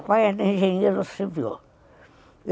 O papai era engenheiro civil.